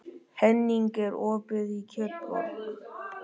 Henning, er opið í Kjötborg?